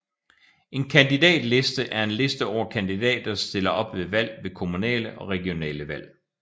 En kandidatliste er en liste over kandidater der stiller op til valg ved kommunale og regionale valg